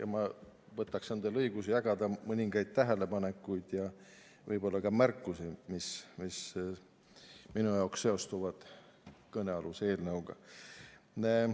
Aga ma võtan endale õiguse jagada mõningaid tähelepanekuid ja märkusi, mis minu jaoks seostuvad kõnealuse eelnõuga.